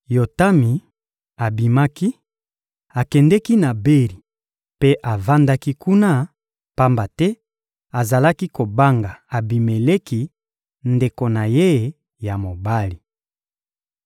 Yotami abimaki, akendeki na Beri mpe avandaki kuna, pamba te azalaki kobanga Abimeleki, ndeko na ye ya mobali.